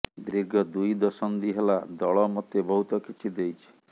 ଦୀର୍ଘ ଦୁଇ ଦଶନ୍ଧି ହେଲା ଦଳ ମୋତେ ବହୁତ କିଛି ଦେଇଛି